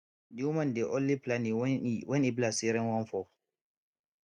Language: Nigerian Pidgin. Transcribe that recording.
di woman dey only plany when e when e be like say rain wan fall